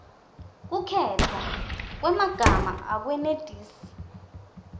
kukhetfwa kwemagama akwenetisi